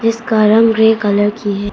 इसका रंग grey colour की है।